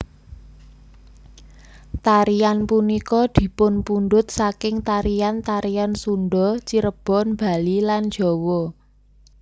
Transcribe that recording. Tarian punika dipunpundhut saking tarian tarian Sunda Cirebon Bali lan Jawa